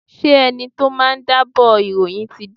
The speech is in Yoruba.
Ṣé ẹni tí ó máa jábọ̀ ìròyìn ti dé?